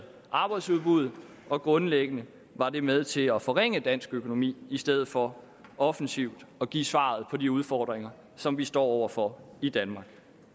arbejdsudbuddet og grundlæggende var det med til at forringe dansk økonomi i stedet for offensivt at give svaret på de udfordringer som vi står over for i danmark